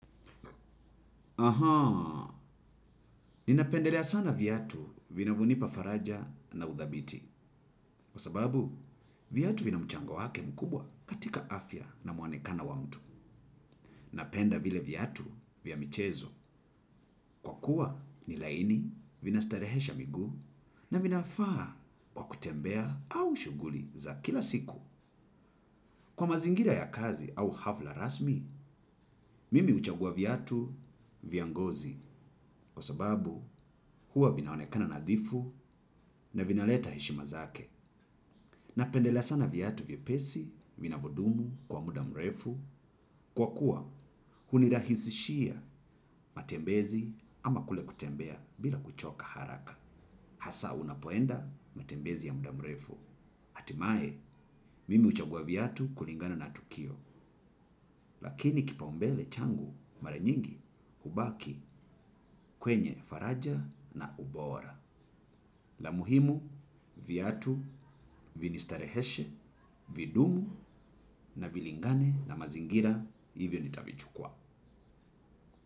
Ahaa, ninapendelea sana viatu vinavo nipa faraja na udhabiti. Kwa sababu, viatu vina mchango wake mkubwa katika afya na muanekano wa mtu. Napenda vile viatu vya michezo kwa kuwa ni laini vina starehesha miguu na vinafaa kwa kutembea au shuguli za kila siku. Kwa mazingira ya kazi au hafla rasmi, mimi huchagua viatu vya ngozi. Kwa sababu huwa vinaonekana nadhifu na vinaleta heshima zake. Napendela sana viatu vyepesi vinavo dumu kwa muda mrefu. Kwa kuwa hunirahisishia matembezi ama kule kutembea bila kuchoka haraka. Hasa unapoenda matembezi ya muda mrefu. Atimae, mimi huchagua viatu kulingana na tukio. Lakini kipaumbele changu, maranyingi, hubaki, kwenye faraja na ubora. La muhimu, viatu, vinistareheshe, vidumu na vilingane na mazingira hivyo nitavichukua.